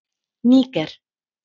Níger